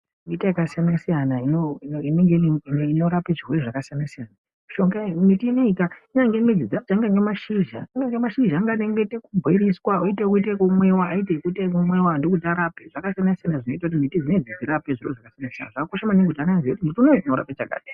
Miti yakasiyana -siyana inorapa zvirwere zvakasiyana-siyana. Miti ineika ingave midzi dzacho ,angave mashizha anoita zvekubhoiliswa, oite ekumwiwa ndokuti arape, zvakasiyana-siyana zvinoita kuti midzi dzinedzi dzirape. Zvakakosha maningi kuti ana aziye kuti muti unowu unorapa chakati.